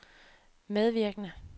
medvirkende